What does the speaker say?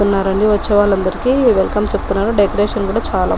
వస్తునారు అండి వచ్చే వాలందరికీ వెల్కం చెప్తున్నారు డెకరేషన్ చాలా --.